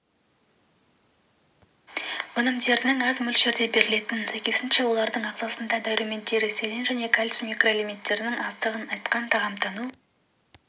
өнімдерінің аз мөлшерде берілетінін сәйкесінше олардың ағзасында дәрумендері селен және кальций микроэлементтерінің аздығын айтқан тағамтану